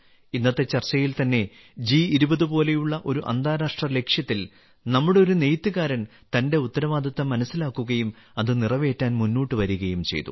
ഇന്നത്തെ ചർച്ചയിൽ തന്നെ ജി20 പോലെയുള്ള ഒരു അന്താരാഷ്ട്ര ലക്ഷ്യത്തിൽ നമ്മുടെ ഒരു നെയ്ത്തുകാരൻ തന്റെ ഉത്തരവാദിത്തം മനസ്സിലാക്കുകയും അത് നിറവേറ്റാൻ മുന്നോട്ട് വരികയും ചെയ്തു